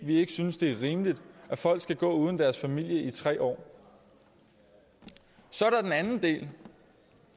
vi ikke synes det er rimeligt at folk skal gå uden deres familie i tre år så er